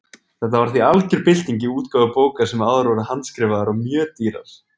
Þetta var því algjör bylting í útgáfu bóka sem áður voru handskrifaðar og mjög dýrar.